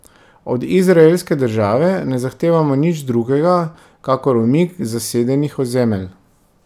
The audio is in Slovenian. Od izraelske države ne zahtevamo nič drugega kakor umik z zasedenih ozemelj.